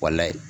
Walayi